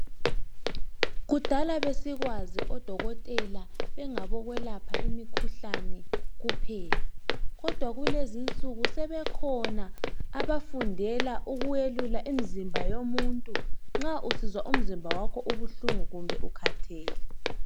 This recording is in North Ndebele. Kudala besikwazi odokotela bengabo kwelapha imikhuhlane kuphela kodwa kulezinsuku sebekhona abafundela ukwelula umzimba womuntu nxa usizwa umzimba wakho ubuhlungu kumbe ukhathele.